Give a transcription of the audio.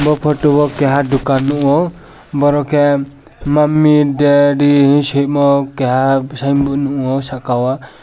o photo keha dokan nogo boro ke mummy daddy hi siymo keha singboard nogo saka o.